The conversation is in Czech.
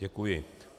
Děkuji.